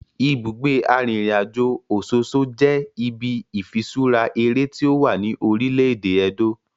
Ibugbe arinrinajo Ososo je ibi ifiṣura ere ti owa ni orile-ede Edo.